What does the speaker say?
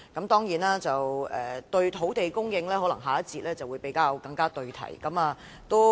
當然，關於土地供應，可能下一環節會更為對題。